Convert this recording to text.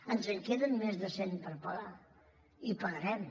ens en queden més de cent per pagar i pagarem